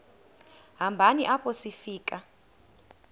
hambeni apho sifika